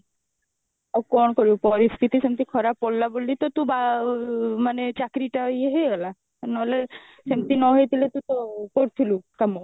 ଆଉ କଣ କରିବୁ ପରିସ୍ଥିତି ସେମଟି ଖରାପ ପଡିଲା ବୋଲି ତ ତୁ ବା ମାନେ ଚାକିରି ଟା ଇଏ ହେଇଗଲା ନହେଲେ ସେମତି ନହେଇଥିଲେ ତ କଉଠି ଥିଲୁ କାମ